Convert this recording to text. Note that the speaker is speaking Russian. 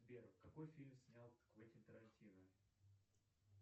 сбер какой фильм снял квентин тарантино